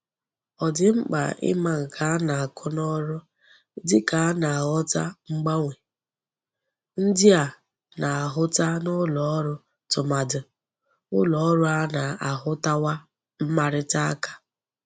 O di mkpa I'ma nke a na-ako n'oru dika a na-aghota mgbanwe ndi a na-ahuta n'uloru tumadu n'uloru a na-ahutawa mmarita aka.